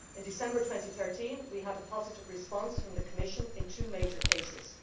In December 2013 we had a positive response from the Commission in two major cases.